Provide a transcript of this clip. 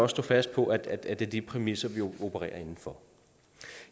stå fast på at det er de præmisser vi opererer inden for